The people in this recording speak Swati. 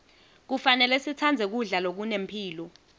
kufanele sitsandze kudla lokunemphilo